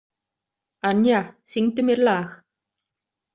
Anja, syngdu mér lag.